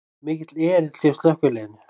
Mikill erill hjá slökkviliðinu